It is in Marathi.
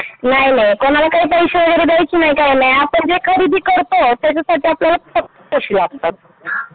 नाही नाहीं कोणाला काय पैसे वगैरे द्यायचे नाहीत काय नाही आपण जे खरीदी करतो त्याच्यासाठी आपल्याला फक्त पैसे लागतात.